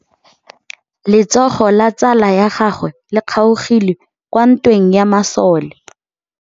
Letsôgô la tsala ya gagwe le kgaogile kwa ntweng ya masole.